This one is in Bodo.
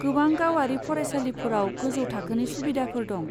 गोबां गावारि फरायसालिफोराव गोजौ थाखोनि सुबिदाफोर दं।